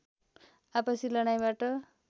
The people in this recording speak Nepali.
आपसी लडाईँबाट